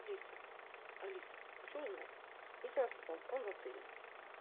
алиса алиса хочу узнать есть ли у нас балкон в отеле